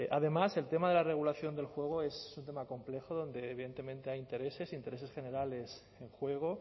además el tema de la regulación del juego es un tema complejo donde evidentemente hay intereses e intereses generales en juego